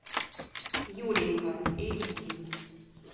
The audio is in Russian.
юленька эйч ди